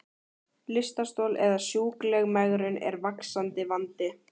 Lystarstol eða sjúkleg megrun er vaxandi vandi.